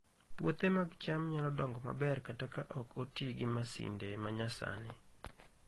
Puothe mag cham nyalo dongo maber kata ka ok oti gi masinde ma nyasani